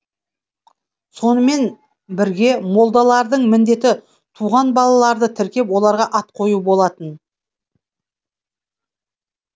сонымен бірге молдалардың міндеті туған балаларды тіркеп оларға ат қою болатын